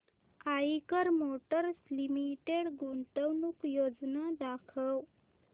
Eicher Motors Limited गुंतवणूक योजना दाखव